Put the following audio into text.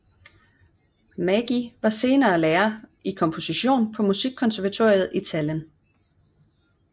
Mägi var senere lærer i komposition på musikkonservatoriet i Tallinn